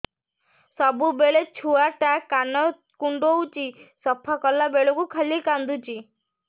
ସବୁବେଳେ ଛୁଆ ଟା କାନ କୁଣ୍ଡଉଚି ସଫା କଲା ବେଳକୁ ଖାଲି କାନ୍ଦୁଚି